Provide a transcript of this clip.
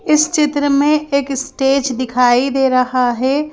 इस चित्र में एक स्टेज दिखाई दे रहा है ।